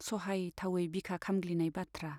सहायथावै बिखा खामग्लिनाय बाथ्रा।